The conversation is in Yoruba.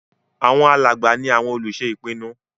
Àwọn alàgbà ní àwọn olùṣe ìpinnu